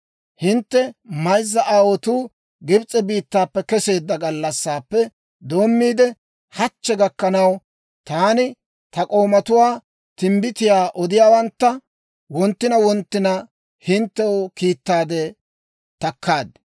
Hintte mayzza aawotuu Gibs'e biittaappe keseedda gallassaappe doommiide, hachchi gakkanaw, taani ta k'oomatuwaa, timbbitiyaa odiyaawantta wonttina wonttina hinttew kiittaadde takkaad.